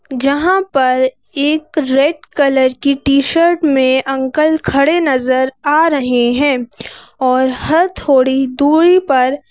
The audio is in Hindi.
जहां पर एक रेड कलर की टी-शर्ट में अंकल खड़े नजर आ रहे हैं और हर थोड़ी दूरी पर--